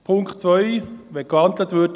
Zur Ziffer 2: